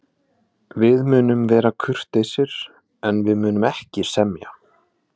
Við munum vera kurteisir, en við munum ekki semja.